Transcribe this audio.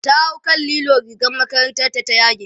ta hau kan lilo rigar makarantar ta ta yage